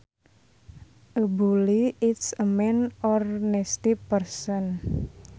A bully is a mean or nasty person